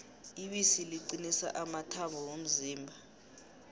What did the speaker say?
ibisi liqinisa amathambo womzimba